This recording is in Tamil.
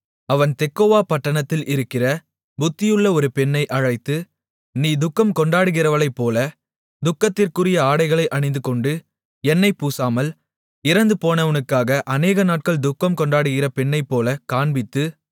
அவன் தெக்கோவா பட்டணத்தில் இருக்கிற புத்தியுள்ள ஒரு பெண்ணை அழைத்து நீ துக்கம் கொண்டாடுகிறவளைப்போல துக்கத்திற்குரிய ஆடைகளை அணிந்துகொண்டு எண்ணெய் பூசாமல் இறந்து போனவனுக்காக அநேகநாட்கள் துக்கம் கொண்டாடுகிற பெண்ணைப்போலக் காண்பித்து